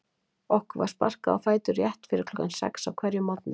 Okkur var sparkað á fætur rétt fyrir klukkan sex á hverjum morgni.